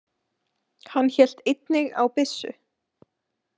Hann hélt einnig á byssu.